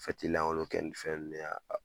lankonlo kɛ nin fɛn nunnu ye a